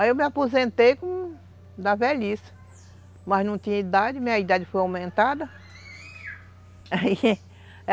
Aí eu me aposentei com... Da velhice, mas não tinha idade, minha idade foi aumentada